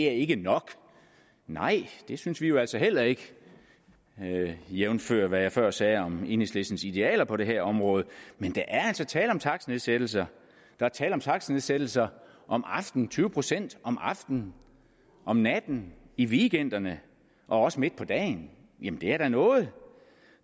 ikke er nok nej det synes vi jo altså heller ikke jævnfør hvad jeg før sagde om enhedslistens idealer på det her område men der er altså tale om takstnedsættelser der er tale om takstnedsættelser om aftenen tyve procent om aftenen om natten i weekenderne og også midt på dagen jamen det er da noget